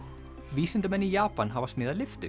vísindamenn í Japan hafa smíðað lyftu